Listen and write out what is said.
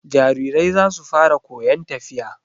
Jarirai za su fara koyon tafiya.